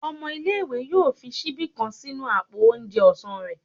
ọmọ ìlé-ìwé yọọ fi síbí kán sínú apó oúnjẹ ọsán rẹ